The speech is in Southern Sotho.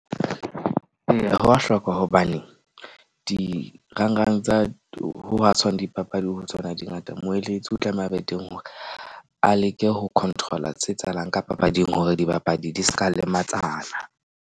Ee, ho wa hlokwa hobane dirang rang tsa ho ha tshwane dipapadi ho tsona di ngata. Moeletsi o tlameha a be teng hore a leke ho control-a tse etsahalang ka papading hore dibapadi di ska lematsana.